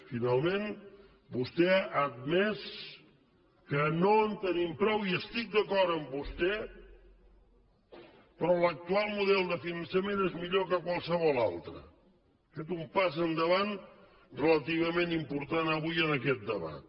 finalment vostè ha admès que no en tenim prou i estic d’acord amb vostè però l’actual model de finançament és millor que qualsevol altre ha fet un pas endavant relativament important avui en aquest debat